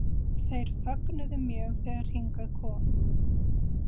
Þeir fögnuðu mjög þegar hingað kom.